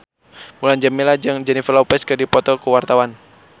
Mulan Jameela jeung Jennifer Lopez keur dipoto ku wartawan